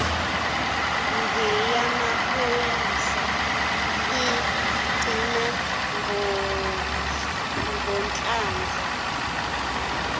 ngeyamaphoyisa igcina ngohlamvu